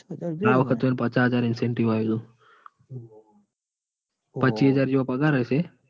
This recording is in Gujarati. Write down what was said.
આ વાર પાંચ હાજર incentive આયેલો. પચ્ચી હાજર જેવો પગાર હશેપાંચ